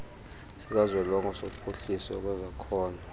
sikazwelonke sophuhliso lwezakhono